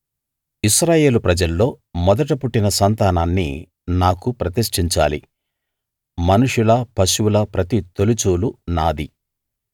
ఇశ్రాయేలు ప్రజల్లో మొదట పుట్టిన సంతానాన్ని నాకు ప్రతిష్టించాలి మనుషుల పశువుల ప్రతి తొలిచూలు నాది